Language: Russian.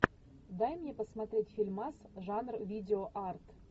дай мне посмотреть фильмас жанр видеоарт